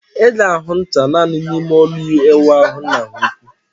Ị ga-ahụ ncha naani n'ime ụlọ ịwụ ahu nna ha ukwu